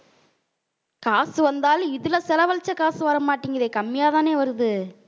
காசு வந்தாலும் இதுல செலவழிச்ச காசு வரமாட்டேங்குதே கம்மியாதானே வருது.